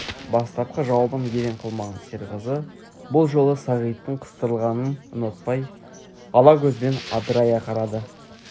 бастапқы жауабын елең қылмаған серғазы бұл жолы сағиттің қыстырылғанын ұнатпай ала көзімен адырая қарады